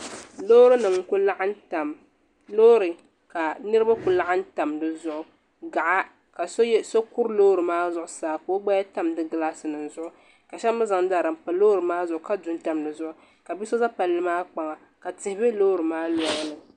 Loori ka Niribi kuli laɣim tam di zuɣu ka so kuri loori maa zuɣu saa ka o gbaya tam di gilaasinima zuɣu ka shɛbi mi zaŋ dari m pa loori maa zuɣu ka bia so za palli maa kpaŋa ka tihi be loori maa lɔŋni.